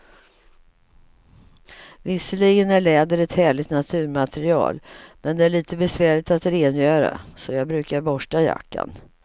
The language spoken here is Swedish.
Visserligen är läder ett härligt naturmaterial, men det är lite besvärligt att rengöra, så jag brukar borsta jackan.